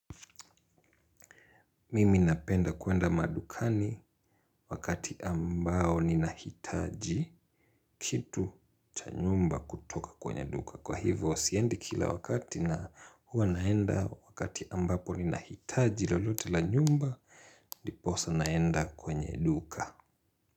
Mimi napenda kwenda madukani wakati ambao ninahitaji kitu cha nyumba kutoka kwenye duka. Kwa hivyo, siendi kila wakati na huwa naenda wakati ambapo ninahitaji lolote la nyumba, diposa naenda kwenye duka.